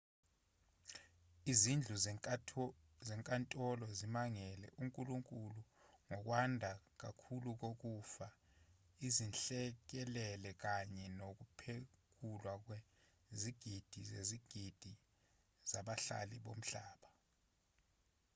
izindlu zezinkantolo zimangalele unkulunkulu ngokwanda kakhulu kokufa izinhlekelele kanye nokuphekulwa kwezigidi zezigidi zabahlali bomhlaba